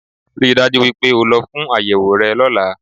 Ríi dájú wípé o lọ fún àyẹ̀wò rẹ lọ́lá